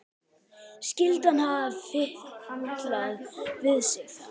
Skyldi hann hafa fitlað við sig þá?